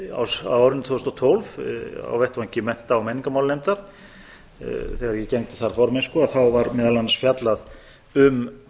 á árinu tvö þúsund og tólf á vettvangi mennta og menningarmálanefndar þegar ég gegndi þar formennsku þá var meðal annars fjallað um